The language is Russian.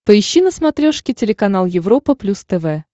поищи на смотрешке телеканал европа плюс тв